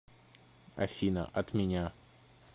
афина от меня